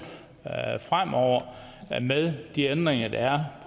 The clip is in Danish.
fremover med de ændringer der er